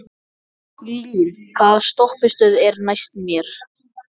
Lín, hvaða stoppistöð er næst mér?